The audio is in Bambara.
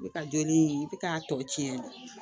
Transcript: Ne ka joli i bɛ k'a tɔ tiɲɛ